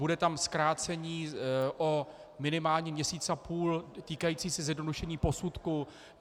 Bude tam zkrácení o minimálně měsíc a půl týkající se zjednodušení posudku.